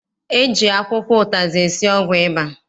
E ji akwụkwọ ụtazị esi ọgwụ ịba.